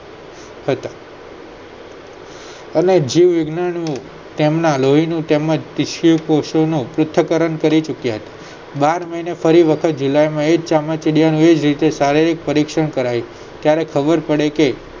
અને જીવ વિજ્ઞાનીઓએ તેમના લોહીનું તેમજ કોષોનું પૃથકરણ કરી ચુક્યા છે બાર મહિને ફરી વખત જુલાઈમાં એજ ચામાચીડિયાનું એજ રીતે શારીરિક પરીક્ષણ કરાય છે ત્યારે ખબર પડે કે